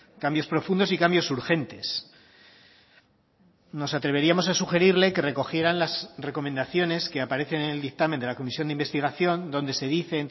cambios profundos y cambios urgentes nos atreveríamos a sugerirle que recogieran las recomendaciones que aparecen en el dictamen de la comisión de investigación donde se dice